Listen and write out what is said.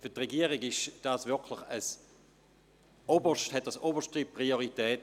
Für die Regierung hat dieses Thema oberste Priorität.